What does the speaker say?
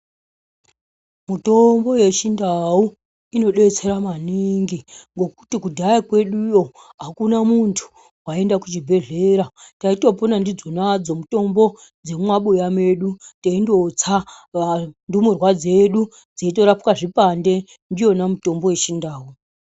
Mitombo yechindau inodetsera maningi ngokuti kudhaya kweduyo akuna muntu waienda kuchibhehleya taitopona ndidzo nadzo mutombo dzemumabuya medu teindotsa ndumurwa dzedu dzeitorapwe zvipande ndiyona mitombo yechindau.